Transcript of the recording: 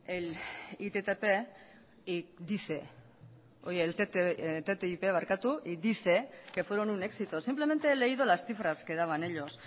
el ttip y dice que fueron un éxito simplemente he leído las cifras que daban ellos